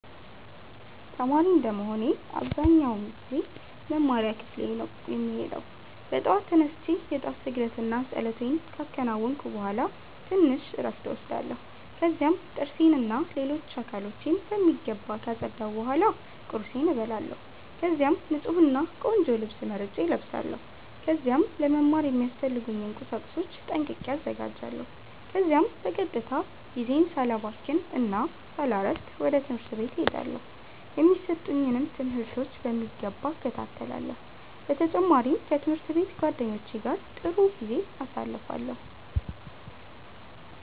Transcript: ተማሪ እንደመሆኔ አብዛኛውን ጊዜ ወደ መማሪያ ክፍሌ ነው የምሄደው። በጠዋት ተነስቼ የ ጧት ስግደት እና ፀሎቴን ካከናወንኩ ቡሃላ ትንሽ እረፍት እወስዳለሁ። ከዚያም ጥርሴን እና ሌሎች አካሎቼን በሚገባ ካፀዳሁ ቡሃላ ቁርሴን እበላለሁ። ከዚያም ንፁህ እና ቆንጆ ልብስ መርጬ እለብሳለው። ከዚያም ለ መማሪያ የሚያስፈልጉኝን ቁሳቁሶች ጠንቅቄ አዘጋጃለሁ። ከዚያም በቀጥታ ጊዜዬን ሳላባክን እና ሳላሰፍድ ወደ ትምህርት ቤት እሄዳለው። የሚሰጡኝንም ትምህርቶች በሚገባ እከታተላለሁ። በ ተጨማሪም ከ ትምህርት ቤት ጓደኞቼ ጋ ጥሩ ጊዜ አሳልፋለሁ።